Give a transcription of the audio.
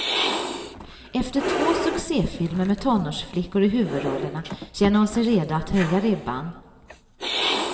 Efter två succéfilmer med tonårsflickor i huvudrollerna känner hon sig redo att höja ribban.